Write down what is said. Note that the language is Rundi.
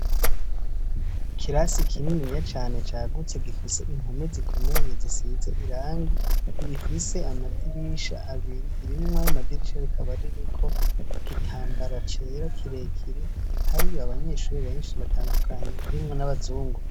Ikirasi kininiya cane cagutse gifise impome zikomeye zisize irangi rifise amadirisha abiri, rimwe mw'ayomadirisha rikaba ririko igitambara cera kirekire. Hariyo abanyeshuri benshi batandukanye harimwo n'abazungu.